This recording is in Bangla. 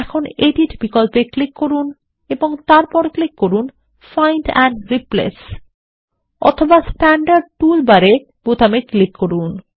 এখন এডিট বিকল্পে ক্লিক করুন এবং তারপর ক্লিক করুন ফাইন্ড এন্ড রিপ্লেস অথবা স্ট্যান্ডার্ড টুল বারে বোতামে ক্লিক করুন